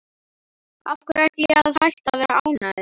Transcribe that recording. Af hverju ætti ég að hætta að vera ánægður?